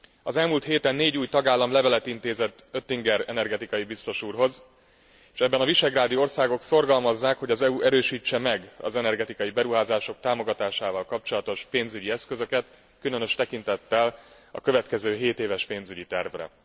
Az elmúlt héten négy új tagállam levelet intézett Oettinger energetikai biztos úrhoz, s ebben a visegrádi országok szorgalmazzák, hogy az EU erősítse meg az energetikai beruházások támogatásával kapcsolatos pénzügyi eszközöket, különös tekintettel a következő hétéves pénzügyi tervre.